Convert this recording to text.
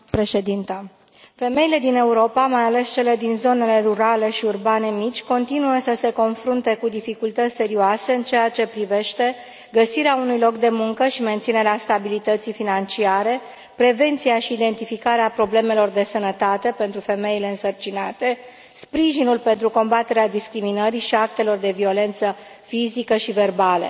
Doamnă președintă, femeile din Europa, mai ales cele din zonele rurale și urbane mici, continuă să se confrunte cu dificultăți serioase în ceea ce privește găsirea unui loc de muncă și menținerea stabilității financiare, prevenția și identificarea problemelor de sănătate pentru femeile însărcinate, sprijinul pentru combaterea discriminării și a actelor de violență fizică și verbală.